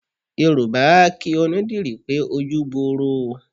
Yorùbá a kí onídìrí pé ojú gboro o.